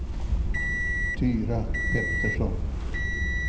Tyra Pettersson